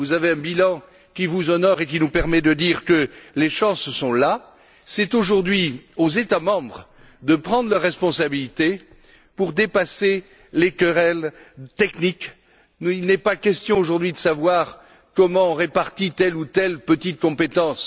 Vous avez un bilan qui vous honore et qui nous permet de dire que les chances sont de notre côté. Il appartient aujourd'hui aux États membres de prendre leurs responsabilités pour dépasser les querelles techniques. Il n'est pas question de savoir comment on répartit telle ou telle petite compétence.